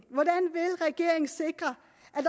sikre